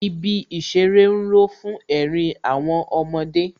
Ibi ìṣeré ń ró fún ẹ̀rín àwọn ọmọdé